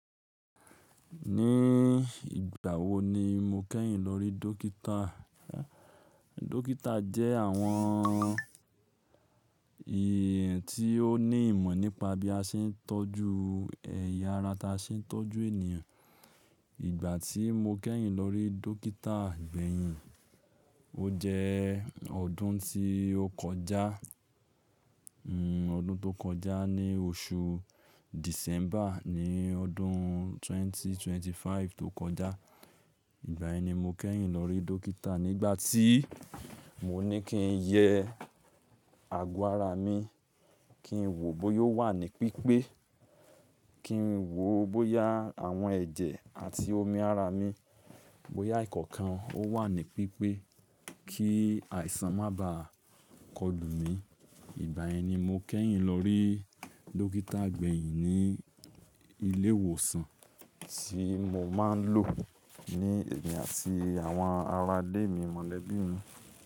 Ní ìgbà wo ni mo kẹ́yìn lórí dókítà? Dókítà jẹ́ àwọn èèyàn tí ó ní ìmọ̀ nípa bí a ṣe ń tọ́jú ẹ̀yà ara tí a ṣe ń tọ́jú ènìyàn. Ìgbà tí mo kẹ́yìn lórí dókítà gbẹ̀yìn, ó jẹ́ ọdún tí ó kọjá, ọdún tó kọjá ní oṣù December ní ọdún 2025 tó kọjá. Ìgbà yen ni mo kẹ́yìn lórí dókítà nígbà tí mo ní kí n yẹ àgọ́ ara mi, kí n wò bóyá ó wà ní pípé, kí n wò bóyá àwọn ẹ̀jẹ̀ àti omi ara mi, bóyá ìkọ̀ọ̀kan ó wà ní pípé kí àìsàn má ba kọlù mi. Ìgbà yen ni mo kẹ́yìn lórí dókítà gbẹ̀yìn ní ilé ìwòsàn tí mo máa ń lò ní èmi àti àwọn ará ilé mi mọ̀lẹ́bí mi.